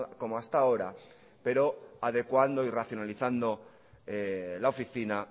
como hasta ahora pero adecuando y racionalizando la oficina